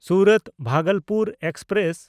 ᱥᱩᱨᱟᱛ–ᱵᱷᱟᱜᱚᱞᱯᱩᱨ express